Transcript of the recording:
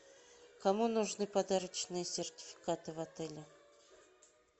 кому нужны подарочные сертификаты в отеле